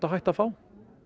á hættu að fá